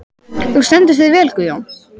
Þú stendur þig vel, Guðjón!